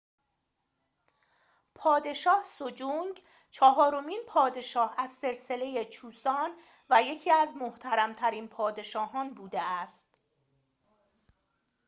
پادشاه سجونگ چهارمین پادشاه از سلسله چوسان و یکی از محترم‌ترین پادشاه‌ها بوده است